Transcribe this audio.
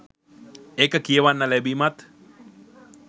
ඒක කියවන්න ලැබීමත්